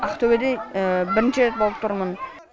ақтөбеде бірінші рет болып тұрмын